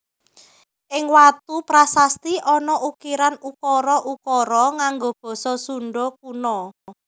Ing watu prasasti ana ukiran ukara ukara nganggo basa Sunda Kuna